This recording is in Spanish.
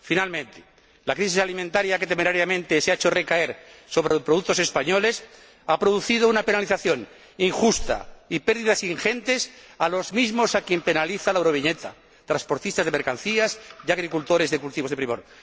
Por último, la crisis alimentaria, que temerariamente se ha hecho recaer sobre los productos españoles, ha producido una penalización injusta y pérdidas ingentes a los mismos a quien penaliza la Euroviñeta transportistas de mercancías y agricultores de cultivos de primor.